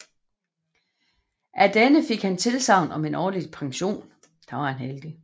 Af denne han fik tilsagn om en årlig pension